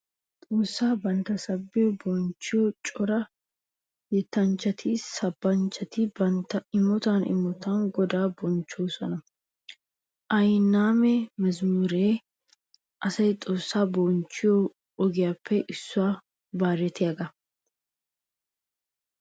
Xoossaa bantta saban bonchchiya cora yettanchchatinne sabanchchati bantta imotan imotan godaa bonchchoosona. Ayyanaamma mazamuree asay xoossaa bonchchiyo ogiyappe issuwanne bayratiyagaa.